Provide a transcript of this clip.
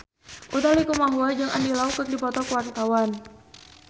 Utha Likumahua jeung Andy Lau keur dipoto ku wartawan